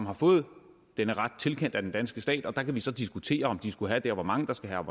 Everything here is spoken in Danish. har fået denne ret tilkendt af den danske stat der kan vi så diskutere om de skulle have den hvor mange der skulle have